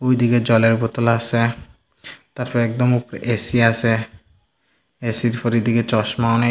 এদিকে জলের বোতল আসে তারপর একদম উপরে এ_সি আসে এ_সি -র পর এদিকে চশমা অনেক --